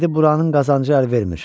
Dedi buranın qazancı əl vermir.